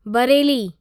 Bareilly